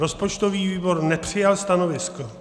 Rozpočtový výbor nepřijal stanovisko.